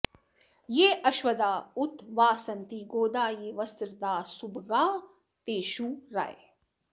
ये अश्वदा उत वा सन्ति गोदा ये वस्त्रदाः सुभगास्तेषु रायः